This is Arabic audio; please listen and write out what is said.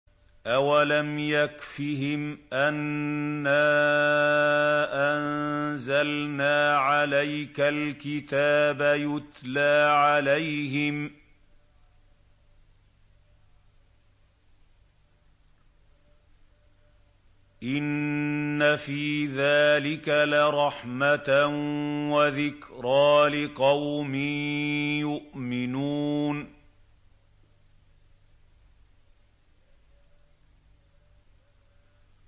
أَوَلَمْ يَكْفِهِمْ أَنَّا أَنزَلْنَا عَلَيْكَ الْكِتَابَ يُتْلَىٰ عَلَيْهِمْ ۚ إِنَّ فِي ذَٰلِكَ لَرَحْمَةً وَذِكْرَىٰ لِقَوْمٍ يُؤْمِنُونَ